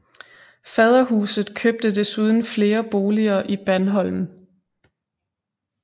Faderhuset købte desuden flere boliger i Bandholm